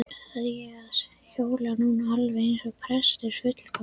segi ég og hljóma nú alveg eins og prestur, fullkomlega